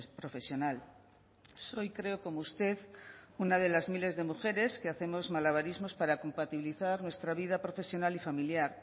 profesional soy creo como usted una de las miles de mujeres que hacemos malabarismos para compatibilizar nuestra vida profesional y familiar